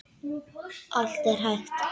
Allt er hægt.